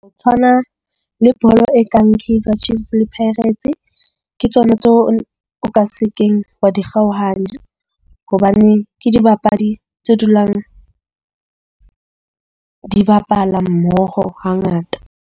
O tshwana le bolo e kang Kaizer Chiefs le Pirates, ke tsona tseo o ka se keng wa di kgaohane. Hobane ke dibapadi tse dulang di bapala mmoho hangata.